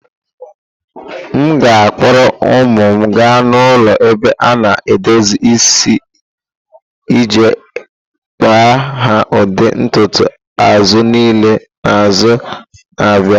M ga-akpọrọ ụmụ m gaa n'ụlọ ebe a na edozi isi iji kpa ha ụdị ntutu azụ niile n'izu na-abịa.